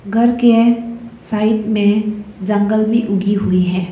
घर के साइड में जंगल भी उगी हुई है।